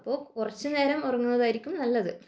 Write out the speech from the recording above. അപ്പൊ കുറച്ചു നേരം ഉറങ്ങുകയായിരിക്കും നല്ലത്